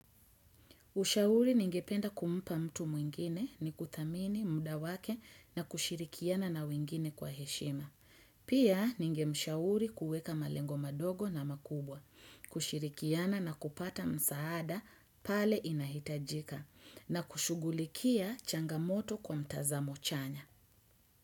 Ushauri ningependa kumpa mtu mwingine ni kudhamini, muda wake na kushirikiana na wengine kwa heshima. Pia ningemshauri kueka malengo madogo na makubwa, kushirikiana na kupata msaada pale inahitajika na kushughulikia changamoto kwa mtazamo chanya.